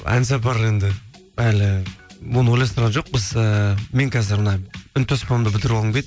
ән сапар енді әлі оны ойластырған жоқпыз ііі мен қазір мына үнтаспамды бітіріп алғым келеді